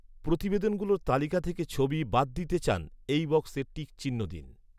প্রতিবেদনগুলোর তালিকা থেকে ছবি বাদ দিতে চান, এই বক্সে টিক চিহ্ন দিন৻